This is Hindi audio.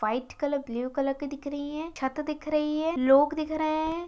वाइट कलर ब्लू कलर की दिख रही है छत दिख रही है लोग दिख रहे हैं।